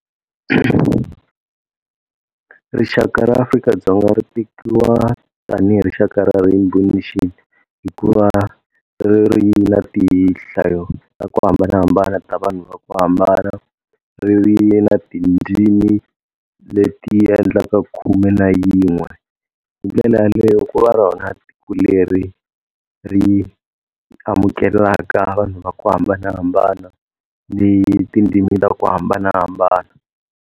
Rixaka ra Afrika-Dzonga ri tekiwa tani hi rixaka ra Rainbow Nation hikuva ri ri na tihlayo ta ku hambanahambana ta vanhu va ku hambana, ri ri na tindzimi leti endlaka khume na yin'we. Hindlela yaleyo ku va rona tiko leri ri amukelaka vanhu va ku hambanahambana ni tindzimi ta ku hambanahambana.